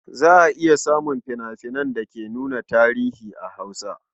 Za a iya samun fina-finan da ke nuna tarihi a Hausa.